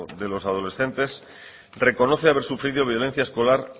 de los adolescentes reconoce haber sufrido violencia escolar